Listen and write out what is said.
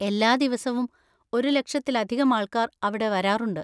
എല്ലാ ദിവസവും ഒരു ലക്ഷത്തിലധികം ആൾക്കാർ അവിടെ വരാറുണ്ട്.